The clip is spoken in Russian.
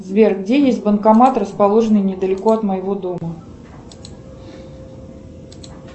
сбер где есть банкомат расположенный недалеко от моего дома